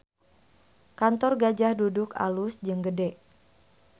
Kantor Gajah Duduk alus jeung gede